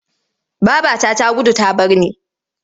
Babata ta gudu ta bar ni.